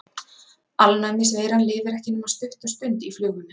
Alnæmisveiran lifir ekki nema stutta stund í flugunni.